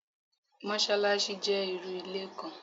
Mosolaṣi jẹ irú ilé kan